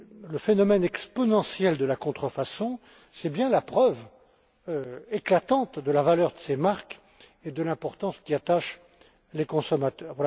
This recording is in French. Le phénomène exponentiel de la contrefaçon est la preuve éclatante de la valeur de ces marques et de l'importance qu'y attachent les consommateurs.